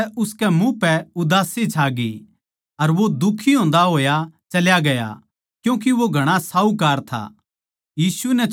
इस बात तै उसकै मुँह पै उदासी छाग्यी अर वो दुखी होंदा होया चल्या गया क्यूँके वो घणा साहूकार था